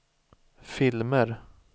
filmer